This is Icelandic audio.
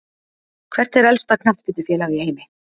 Hvert er elsta knattspyrnufélag í heimi?